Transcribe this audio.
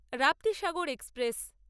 Raptisagar express